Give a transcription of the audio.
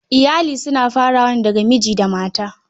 Iyali suna farawa ne daga miji da mata.